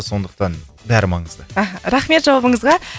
сондықтан бәрі маңызды аха рахмет жауабыңызға